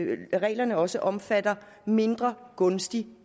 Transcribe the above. reglerne også omfatter mindre gunstig